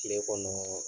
Kile kɔnɔ